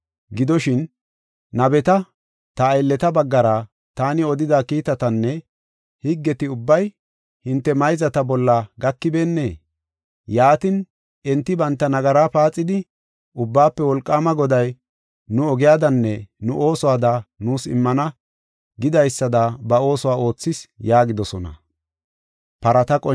Gidoshin, nabeta, ta aylleta baggara taani odida kiitatinne higgeti ubbay hinte mayzata bolla gakibeennee? Yaatin, enti banta nagara paaxidi, “Ubbaafe Wolqaama Goday nu ogiyadanne nu oosuwada nuus immana gidaysada ba oosuwa oothis” yaagidosona.